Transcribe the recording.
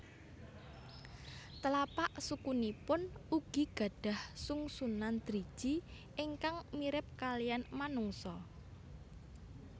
Telapak sukunipun ugi gadhah sungsunan driji ingkang mirip kaliyan manungsa